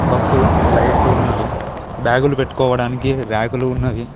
Bus లైట్లు ఉన్నవి బ్యాగులు పెట్టుకోవడానికి ర్యాకులు ఉన్నవి.